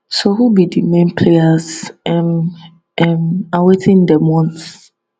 so who be di main players um um and wetin dey want